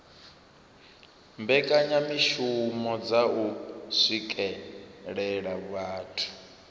mbekanyamishumo dza u swikelela vhathu